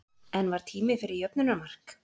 En var tími fyrir jöfnunarmark?